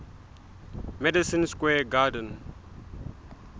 madison square garden